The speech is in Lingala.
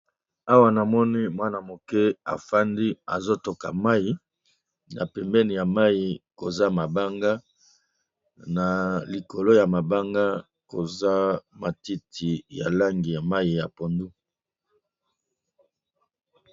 Awa na moni mwana moke afandi azo toka mai na pembeni ya mai koza mabanga na likolo ya mabanga koza matiti ya langi ya mai ya pondu.